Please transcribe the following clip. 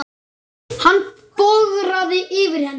Hann bograði yfir henni.